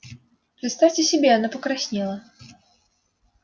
представьте себе она покраснела